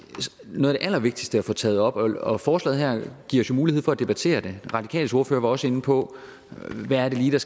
noget af det allervigtigste at få taget op og forslaget her giver os jo mulighed for at debattere det de radikales ordfører var også inde på hvad det lige er